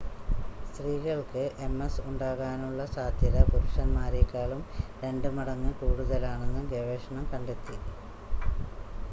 സ്ത്രീകൾക്ക് എംഎസ് ഉണ്ടാകാനുള്ള സാദ്ധ്യത പുരുഷന്മാരെക്കാളും രണ്ട് മടങ്ങ് കൂടുതലാണെന്ന് ഗവേഷണം കണ്ടെത്തി